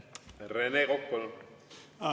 Rene Kokk, palun!